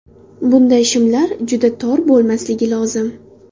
Bunday shimlar juda tor bo‘lmasligi lozim.